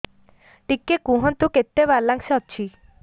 ଟିକେ କୁହନ୍ତୁ କେତେ ବାଲାନ୍ସ ଅଛି